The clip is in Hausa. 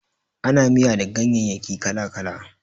Ana miya da ganyayyaki kala-kala.